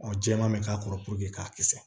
jɛman bɛ k'a kɔrɔ k'a kisɛ